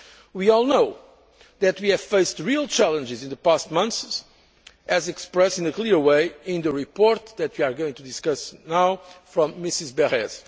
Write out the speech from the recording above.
We all know that we have faced real challenges in the past months as expressed in a clear way in the report that you are going to discuss now from Mrs